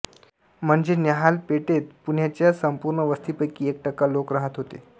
म्हणजे न्याहाल पेठेत पुण्याच्या संपूर्ण वस्तीपैकी एक टक्का लोक राहात होते